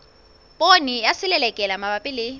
poone ya selelekela mabapi le